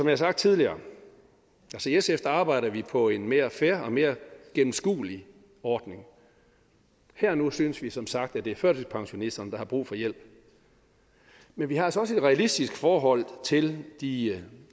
har sagt tidligere arbejder vi på en mere fair og mere gennemskuelig ordning her og nu synes vi som sagt at det er førtidspensionisterne der har brug for hjælp men vi har altså også et realistisk forhold til de